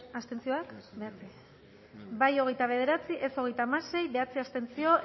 hamalau eman dugu bozka hogeita bederatzi boto aldekoa hogeita hamasei contra bederatzi abstentzio